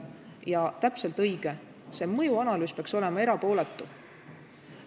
Ja täpselt õige: mõjuanalüüs peaks olema erapooletu.